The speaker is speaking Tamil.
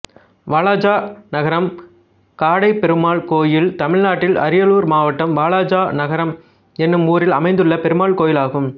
வாலாஜா நகரம் காடைப்பெருமாள் கோயில் தமிழ்நாட்டில் அரியலூர் மாவட்டம் வாலாஜா நகரம் என்னும் ஊரில் அமைந்துள்ள பெருமாள் கோயிலாகும்